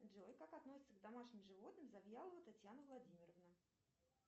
джой как относится к домашним животным завьялова татьяна владимировна